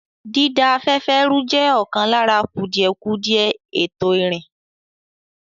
Dída afẹ́fẹ́ rú jẹ́ ọ̀kan lára kùdìẹ̀kudiẹ ètò ìrìn.